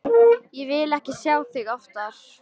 Ég vil ekki sjá þig oftar.